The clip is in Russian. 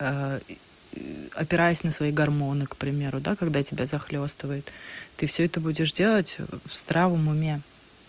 опираясь на свои гормоны к примеру да когда тебя захлёстывает ты все это будешь делать в здравом уме